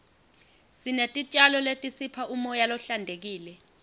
sinetitjalo letisipha umoya lohlantekile